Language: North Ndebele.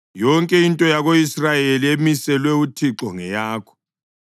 Yonke into yako-Israyeli emiselwe uThixo ngeyakho.